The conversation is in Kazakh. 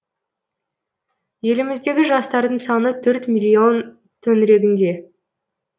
еліміздегі жастардың саны төрт миллион төңірегінде